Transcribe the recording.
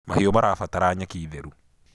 mahiũ marabatara nyeki theru